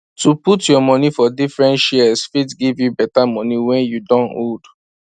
to put your money for different shares fit give you better money when you don old